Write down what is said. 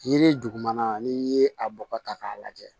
Yiri dugumana n'i ye a bɔgɔ ta k'a lajɛ